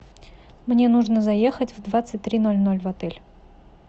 мне нужно заехать в двадцать три ноль ноль в отель